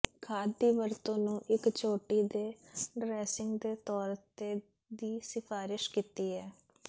ਖਾਦ ਦੀ ਵਰਤੋ ਨੂੰ ਇੱਕ ਚੋਟੀ ਦੇ ਡਰੈਸਿੰਗ ਦੇ ਤੌਰ ਤੇ ਦੀ ਸਿਫਾਰਸ਼ ਕੀਤੀ ਹੈ